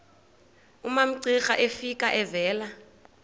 umamcira efika evela